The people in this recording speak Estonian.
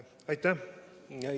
Aitäh!